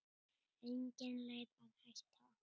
Engin leið að hætta.